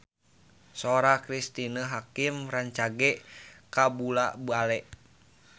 Sora Cristine Hakim rancage kabula-bale